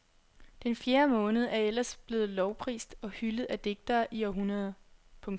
Den fjerde måned er ellers blevet lovprist og hyldet af digtere i århundreder. punktum